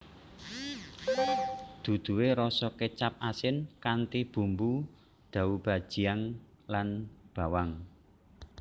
Duduhe rasa kecap asin kanthi bumbu doubanjiang lan bawang